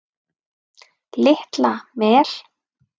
Litla Mel